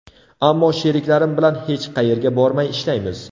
Ammo sheriklarim bilan hech qayerga bormay, ishlaymiz.